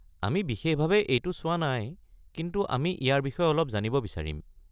আমি বিশেষভাৱে এইটো চোৱা নাই, কিন্তু আমি ইয়াৰ বিষয়ে অলপ জানিব বিচাৰিম।